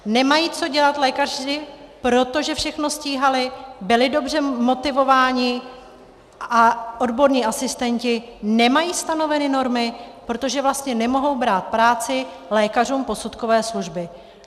Nemají co dělat lékaři, protože všechno stíhali, byli dobře motivováni a odborní asistenti nemají stanoveny normy, protože vlastně nemohou brát práci lékařům posudkové služby.